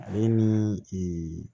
Ale ni ee